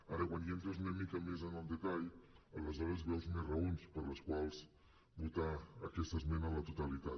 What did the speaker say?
ara quan ja entres una mica més en el detall aleshores veus més raons per les quals votar aquesta esmena a la totalitat